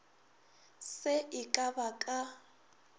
se e ka ba ka